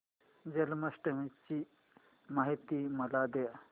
जन्माष्टमी ची माहिती मला दे